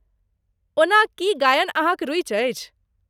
ओना, की गायन अहाँक रुचि अछि?